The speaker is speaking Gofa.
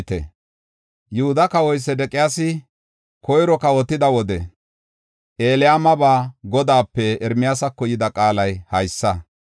Yihuda kawoy Sedeqiyaasi koyro kawotida wode, Elaamaba Godaape Ermiyaasako yida qaalay haysa;